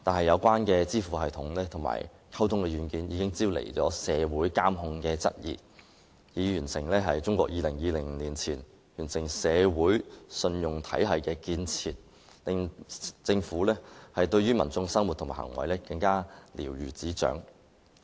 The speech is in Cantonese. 可是，這些支付系統及溝通軟件招來市民質疑有關方面進行"社會監控"，以便中國於2020年前完成"社會信用體系"的建設，使政府對市民的生活和行為更瞭如指掌。